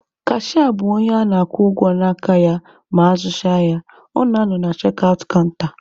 Kashịa bụ onye a na-akwụ ụgwọ n'aka ya ma azụzịa ahịa, ọ na-anọ na chek aụt kanta.